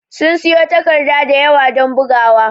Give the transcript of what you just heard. Sun siƴo takarɗa ɗayawa don ɓugawa.